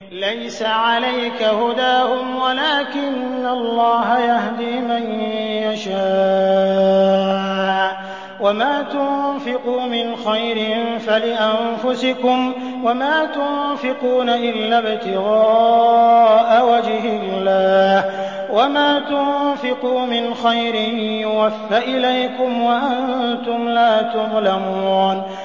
۞ لَّيْسَ عَلَيْكَ هُدَاهُمْ وَلَٰكِنَّ اللَّهَ يَهْدِي مَن يَشَاءُ ۗ وَمَا تُنفِقُوا مِنْ خَيْرٍ فَلِأَنفُسِكُمْ ۚ وَمَا تُنفِقُونَ إِلَّا ابْتِغَاءَ وَجْهِ اللَّهِ ۚ وَمَا تُنفِقُوا مِنْ خَيْرٍ يُوَفَّ إِلَيْكُمْ وَأَنتُمْ لَا تُظْلَمُونَ